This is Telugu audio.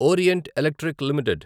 orient Electric limited